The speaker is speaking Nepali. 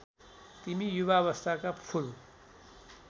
तिमी युवावस्थाका फूल